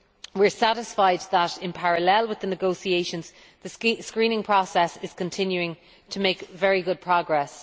We are satisfied that, in parallel with the negotiations, the screening process is continuing to make very good progress.